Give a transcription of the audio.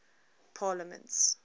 parliaments